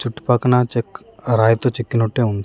చుట్టు పక్కన చెక్ ఆ రాయితో చెకినట్టే ఉంది.